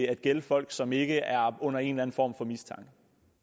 at gælde folk som ikke er under en eller en form for mistanke